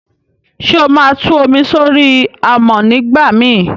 sé óma Tú omi sori amọ nigbamii?